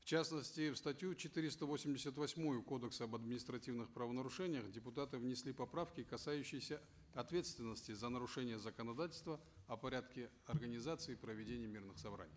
в частности в статью четыреста восемьдесят восьмую кодекса об административных правонарушениях депутаты внесли поправки касающиеся ответственности за нарушение законодательства о порядке организации и проведения мирных собраний